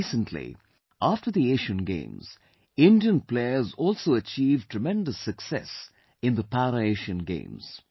Recently, after the Asian Games, Indian Players also achieved tremendous success in the Para Asian Games